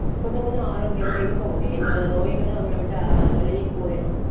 கொஞ்சம் கொஞ்சம் ஆரோக்கியமா இருக்க முடியும் இந்த நோய்களும் நம்மளை விட்டு விலகிப் போயிரும்